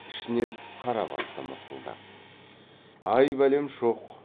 ішінен қарабасты мысқылдап ай бәлем шоқ